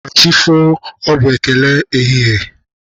Ka chi fo, ọ bụ ekele ehihie?